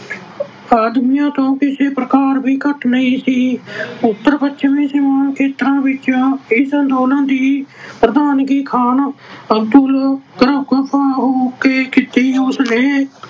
ਆਦਮੀਆਂ ਤੋਂ ਕਿਸੇ ਪ੍ਰਕਾਰ ਵੀ ਘੱਟ ਨਹੀਂ ਸੀ। ਉੱਤਰ ਪੱਛਮੀ ਸੀਮਾ ਖੇਤਰਾਂ ਵਿੱਚ ਇਸ ਅੰਦੋਲਨ ਦੀ ਪ੍ਰਧਾਨਗੀ ਖਾਨ ਅਬਦੁਲ ਨੇ ਕੀਤੀ। ਉਸਨੇ